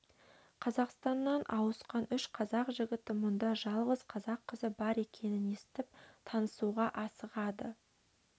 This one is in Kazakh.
қазақстаннан ауысқан үш қазақ жігіті мұнда жалғыз қазақ қызы бар екенін естіп танысуға асығады